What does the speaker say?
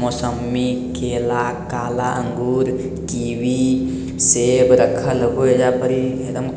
मौसम्मी केला काला अंगूर कीवी सेब रखल होअ एजा पर इ एकदम ख --